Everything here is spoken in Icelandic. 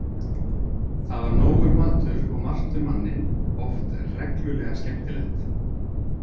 Þar var nógur matur og margt um manninn, oft reglulega skemmtilegt.